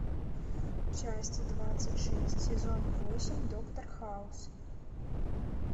часть двадцать шесть сезон восемь доктор хаус